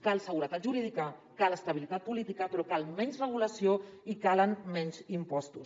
cal seguretat jurídica cal estabilitat política però cal menys regulació i calen menys impostos